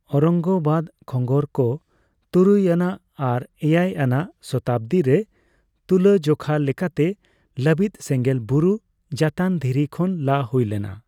ᱳᱣᱨᱚᱝᱜᱚᱵᱟᱫᱽ ᱠᱷᱚᱸᱜᱚᱨᱠᱚ ᱛᱩᱨᱩᱭ ᱟᱱᱟᱜ ᱟᱨ ᱮᱭᱟᱭ ᱟᱱᱟᱜ ᱥᱚᱛᱟᱵᱽᱫᱤ ᱨᱮ ᱛᱩᱞᱟᱹᱡᱚᱠᱷᱟ ᱞᱮᱠᱟᱛᱮ ᱞᱟᱹᱵᱤᱫ ᱥᱮᱸᱜᱮᱞ ᱵᱩᱨᱩ ᱡᱟᱹᱛᱟᱱ ᱫᱷᱤᱨᱤ ᱠᱷᱚᱱ ᱞᱟ ᱦᱩᱭᱞᱮᱱᱟ ᱾